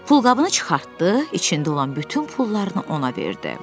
Pulqabını çıxartdı, içində olan bütün pullarını ona verdi.